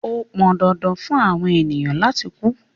Ó pọn dandan fun awọn ènìyàn lati ku